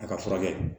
A ka furakɛ